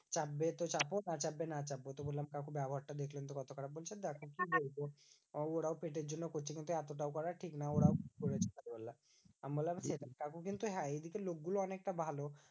চাপবে তো চাপো না চাপবে তো না চাপো। তো বললাম কাকু ব্যবহারটা দেখলেন তো কত খারাপ বলছেন। তো দেখো কি বলবো? ও ওরাও পেটের জন্য করছে কিন্তু এতটাও করা ঠিক নয়। ওরাও বললাম আমি বললাম যে, কাকু কিন্তু হ্যাঁ এইদিকে লোকগুলো অনেকটা ভালো।